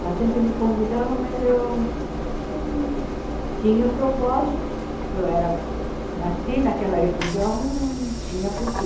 Ela sempre me convidava, mas eu tinha um propósito, porque eu era nasci naquela religião e não tinha porquê.